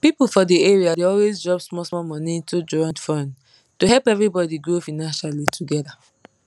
people for the area dey always drop small small money into joint fund to help everybody grow financially together